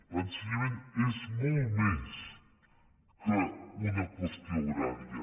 l’ensenyament és molt més que una qüestió horària